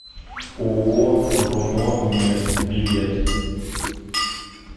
ооо руно мед билет